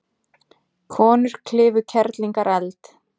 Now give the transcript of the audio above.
Konur klifu Kerlingareld